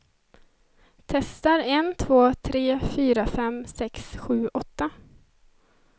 Testar en två tre fyra fem sex sju åtta.